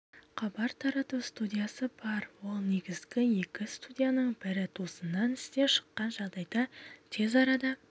хабар тарату студиясы бар ол негізгі екі студияның бірі тосыннан істен шыққан жағдайда тез арада